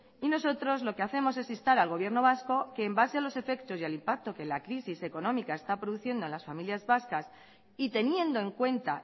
nosotros lo que hacemos es instar al gobierno vasco que en base a los efectos y al impacto que la crisis económica está produciendo en las familias vascas y teniendo en cuenta